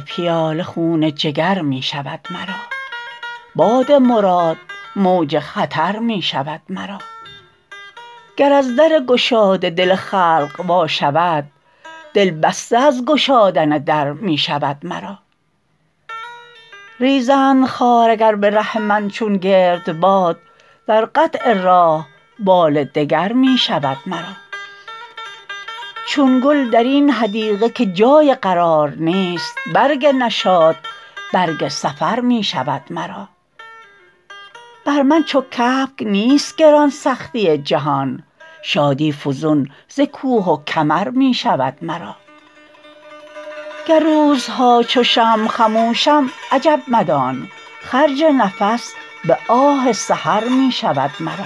پیاله خون جگر می شود مرا باد مراد موج خطر می شود مرا گر از در گشاده دل خلق وا شود دل بسته از گشادن در می شود مرا ریزند خار اگر به ره من چو گردباد در قطع راه بال دگر می شود مرا چون گل درین حدیقه که جای قرار نیست برگ نشاط برگ سفر می شود مرا بر من چو کبک نیست گران سختی جهان شادی فزون ز کوه و کمر می شود مرا گر روزها چو شمع خموشم عجب مدان خرج نفس به آه سحر می شود مرا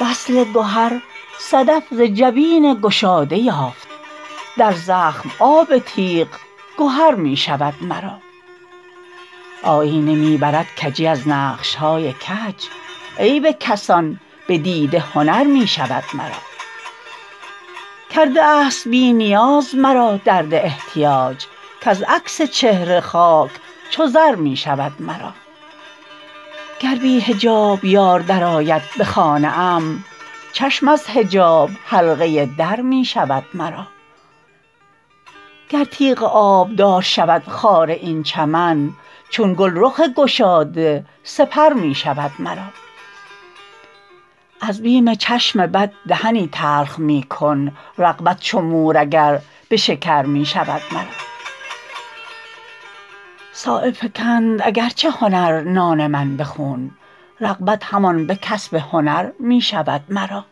وصل گهر صدف ز جبین گشاده یافت در زخم آب تیغ گهر می شود مرا آیینه می برد کجی از نقش های کج عیب کسان به دیده هنر می شود مرا کرده است بی نیاز مرا درد احتیاج کز عکس چهره خاک چو زر می شود مرا گر بی حجاب یار درآید به خانه ام چشم از حجاب حلقه در می شود مرا گر تیغ آبدار شود خار این چمن چون گل رخ گشاده سپر می شود مرا از بیم چشم بد دهنی تلخ می کن رغبت چو مور اگر به شکر می شود مرا صایب فکند اگر چه هنر نان من به خون رغبت همان به کسب هنر می شود مرا